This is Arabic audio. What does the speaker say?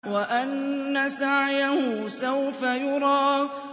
وَأَنَّ سَعْيَهُ سَوْفَ يُرَىٰ